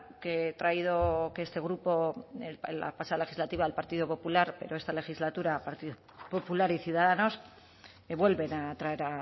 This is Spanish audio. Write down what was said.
que he traído que este grupo la pasada legislatura el partido popular pero esta legislatura partido popular y ciudadanos que vuelven a traer